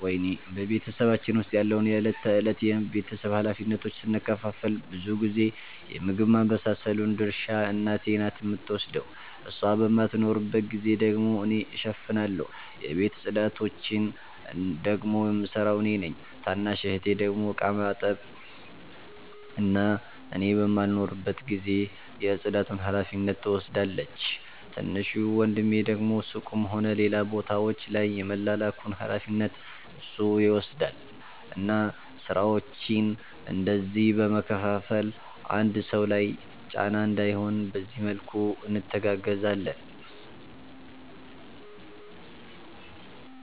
በ ቤተሰባችን ዉስጥ ያለውን የ እለት ተእለት የ ቤተሰብ ሀላፊነቶችን ስንከፋፈል ብዙ ጊዜ የ ምግብ ማባብሰሉን ድርሻ እናቴ ናት የምትወስደው እሷ በማትኖርባት ጊዜ ደግሞ እኔ እሸፍናለሁ። የቤት ፅዳቶቺን ደግሞ የምሰራው እኔ ነኝ። ታናሽ እህቴ ደግሞ እቃ የማጠብ እና እኔ በማልኖርበት ጊዜ የ ፅዳቱን ሀላፊነት ትወስዳለቺ። ትንሹ ወንድሜ ደግሞ ሱቅም ሆነ ሌላ ቦታወች ላይ የመላላኩን ሀላፊነት እሱ ይወስዳል እና ስራወቺን እንደዚህ በ መከፋፈል አንድ ሰው ላይ ጫና እንዳይሆን በዚህ መልኩ እንተጋገዛለን